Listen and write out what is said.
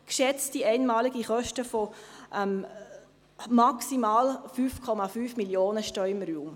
Geschätzte einmalige Kosten von maximal 5,5 Mio. Franken stehen im Raum.